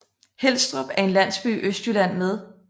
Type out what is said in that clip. Helstrup er en landsby i Østjylland med